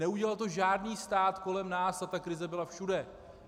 Neudělal to žádný stát kolem nás, a ta krize byla všude.